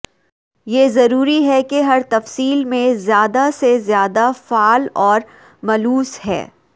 یہ ضروری ہے کہ ہر تفصیل میں زیادہ سے زیادہ فعال اور ملوث ہے